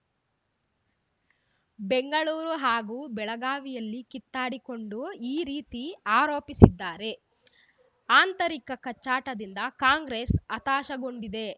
ಬೆಂಗಳೂರು ಹಾಗೂ ಬೆಳಗಾವಿಯಲ್ಲಿ ಕಿತ್ತಾಡಿಕೊಂಡು ಈ ರೀತಿ ಆರೋಪಿಸಿದ್ದಾರೆ ಆಂತರಿಕ ಕಚ್ಚಾಟದಿಂದ ಕಾಂಗ್ರೆಸ್‌ ಹತಾಶಗೊಂಡಿದೆ